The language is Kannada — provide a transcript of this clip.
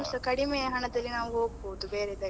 ಇನ್ನುಸ ಕಡಿಮೆ ಹಣದಲ್ಲಿ ನಾವು ಹೊಗ್ಬೋದು ಬೇರೆ ಇದಕ್ಕೆ.